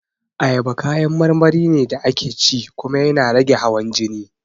Ayaba kayan marmari ne da ake ci kuma yana rage hawan jini